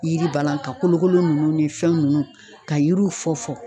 Yiri balan ka kolokolo nunnu ni fɛn nunnu, ka yiriw fɔ fɔ